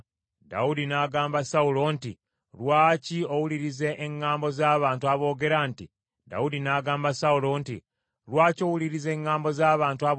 Dawudi n’agamba Sawulo nti, “Lwaki owuliriza eŋŋambo z’abantu aboogera nti, ‘Dawudi amaliridde okukukola akabi?’